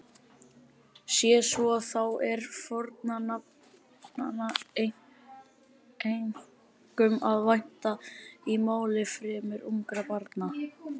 Sé svo þá er fornafnanna einkum að vænta í máli fremur ungra barna.